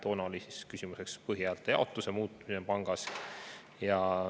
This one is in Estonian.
Toona oli küsimuseks põhihäälte jaotuse muutmine pangas.